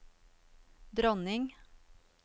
dronning